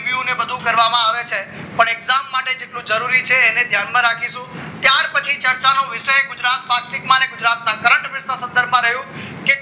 બધું કરવામાં આવે છે અને એક્ઝામ માટે જે જરૂર છે એને ધ્યાનમાં રાખીશું ત્યાર પછી ચર્ચાનો વિષય છે ગુજરાત પ્લાસ્ટિકમાં ને થયું કે